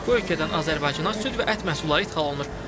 Bu ölkədən Azərbaycana süd və ət məhsulları ixrac olunur.